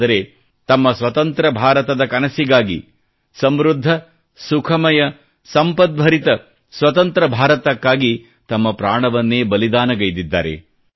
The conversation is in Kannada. ಆದರೆ ತಮ್ಮ ಸ್ವತಂತ್ರ ಭಾರತದ ಕನಸಿಗಾಗಿ ಸಮೃದ್ಧ ಸುಖಮಯ ಸಂಪದ್ಭರಿತ ಸ್ವತಂತ್ರ ಭಾರತಕ್ಕಾಗಿ ತಮ್ಮ ಪ್ರಾಣವನ್ನೇ ಬಲಿದಾನಗೈದಿದ್ದಾರೆ